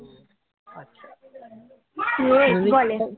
ইয়ে কি বলে